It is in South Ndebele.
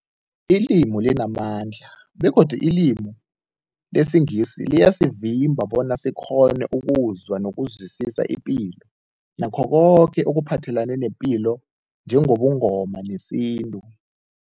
Ilimi limamandla begodu ilimi lesiNgisi liyasivimba bona sikghone ukuzwa nokuzwisisa ipilo nakho koke ekuphathelene nepilo njengobuNgoma nesintu.